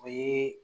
O ye